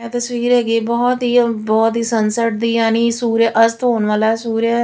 ਇਹ ਤਸਵੀਰ ਹੈਗੀ ਬਹੁਤ ਹੀ ਬਹੁਤ ਹੀ ਸਨਸਰਟ ਦੀ ਯਾਨੀ ਸੂਰਜ ਅਸਤ ਹੋਣ ਵਾਲਾ ਸੂਰ।